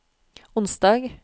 onsdag